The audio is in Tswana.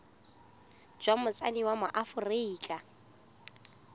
jwa motsadi wa mo aforika